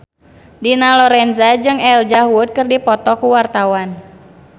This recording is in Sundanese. Dina Lorenza jeung Elijah Wood keur dipoto ku wartawan